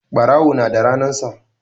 Ɓarawo na da ranan sa